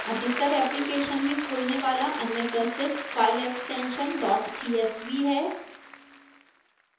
अधिकतर applications में खुलने वाला अन्य प्रसिद्ध file extension dot csv है